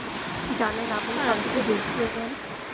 জানেন আপনি সব কিছুই করবেন.